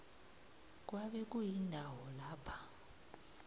kwabe kuyindawo lapha